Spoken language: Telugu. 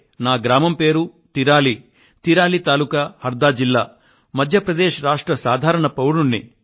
నేను మధ్య ప్రదేశ్ లోని హర్దా జిల్లా తిరాలి తెహ్ శీల్ పరిధిలోని తిరాలి గ్రామానికి చెందిన ఒక సామాన్య పౌరుడిని